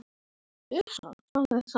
Þín, Svava.